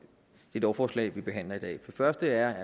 det lovforslag vi behandler i dag det første er